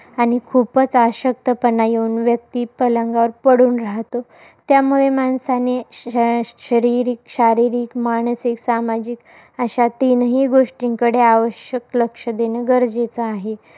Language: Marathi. आणि खूपच अशक्तपणा येऊन, व्यक्ती पलंगावर पडून राहतो. त्यामुळे माणसाने, शरीरिक शारीरिक, मानसिक, सामाजिक अशा तीनही गोष्टींकडे, आवश्यक लक्ष देणं गरजेचं आहे.